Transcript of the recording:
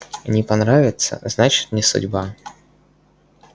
не понравится значит не судьба